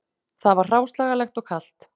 Það var hráslagalegt og kalt